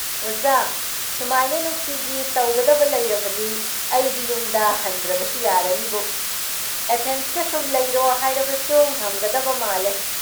ꯑꯣꯖꯥ, ꯁꯨꯃꯥꯏꯅ ꯅꯨꯡꯇꯤꯒꯤ ꯇꯧꯒꯗꯕ ꯂꯩꯔꯕꯗꯤ ꯑꯩꯗꯤ ꯌꯨꯝꯗ ꯍꯟꯗ꯭ꯔꯕꯁꯨ ꯌꯥꯔꯅꯤꯕꯨ꯫ ꯑꯦꯊꯦꯟꯁꯇ ꯁꯨꯝ ꯂꯩꯔꯣ ꯍꯥꯏꯔꯕꯁꯨ ꯉꯝꯒꯗꯕ ꯃꯥꯜꯂꯦ ꯫